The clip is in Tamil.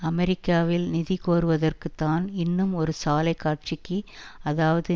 அமெரிக்காவில் நிதி கோருவதற்கு தான் இன்னும் ஒரு சாலைக் காட்சிக்கு அதாவது